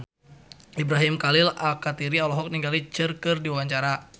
Ibrahim Khalil Alkatiri olohok ningali Cher keur diwawancara